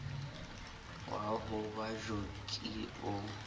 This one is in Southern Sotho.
wa ho ba joki o